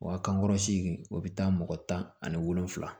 Wa kankɔrɔ seegin o bɛ taa mɔgɔ tan ani wolonfila